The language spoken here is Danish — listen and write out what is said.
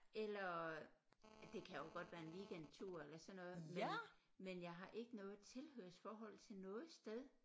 Eller det kan jo godt være en weekendtur eller sådan noget men men jeg har ikke noget tilhørsforhold til noget sted